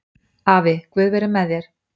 Afi, guð veri með þér